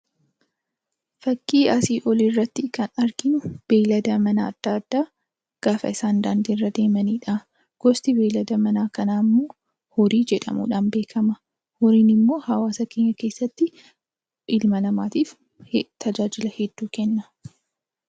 Fakkii asii Olii irratti kan arginu beeyalada manaa yammuu ta'u isaannis karaa irra deemaa kan jiranii dha. Isaannis ilma namaatiif bu'aa hedduu kennu.